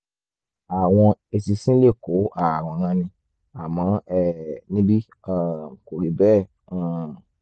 àwọn eṣinṣin lè kó ààrùn ranni àmọ́ um níbí um kò rí bẹ́ẹ̀ um